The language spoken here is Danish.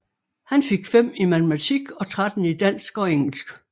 Han fik 5 i Matematik og 13 i Dansk og Engelsk